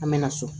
An mɛna so